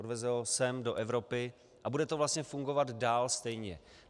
Odveze ho sem do Evropy a bude to vlastně fungovat dál stejně.